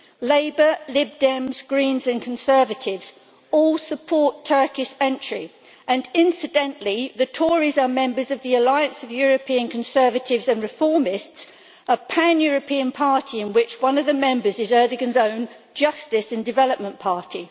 Labour, Lib Dems, Greens and Conservatives all support Turkey's entry and, incidentally, the Tories are members of the Alliance of European Conservatives and Reformists, a pan European party in which one of the members is Erdoğan's own Justice and Development Party.